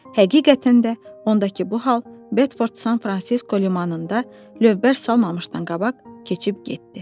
Həqiqətən də ondakı bu hal Bedford San Fransisko limanında lövbər salmamışdan qabaq keçib getdi.